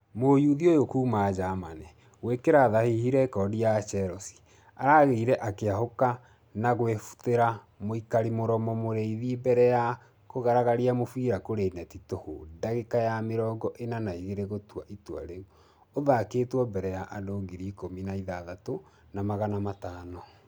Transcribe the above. Mũyuthi ũyũ kuuma germany , gũĩkĩra thahihi rekodi ya chelsea , araigire ....akĩhoũka na kwĩbutera mũikaria mũromo mũrĩthi mbere ya kũgaragaria mũbira kũrĩ neti tũhu dagĩka ya mĩrongo ĩna na igĩrĩ gũtua itua rĩa ....ũthakĩtwo mbere ya andũ ngiri ikũmi na ithathatũ na magana matano.